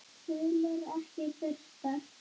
Tölur ekki birtar